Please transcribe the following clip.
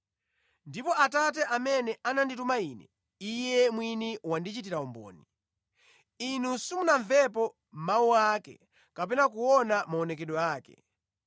Ndipo Atate amene anandituma Ine, Iye mwini wandichitira umboni. Inu simunamvepo mawu ake kapena kuona maonekedwe ake,